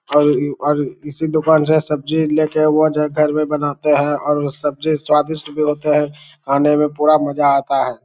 और यू और इसी दुकान से सब्जी लेकर वह जो है घर में बनाते है और सब्जी स्वादिष्ट भी होते है खाने में पूरा मज़ा आता है।